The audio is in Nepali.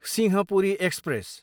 सिंहपुरी एक्सप्रेस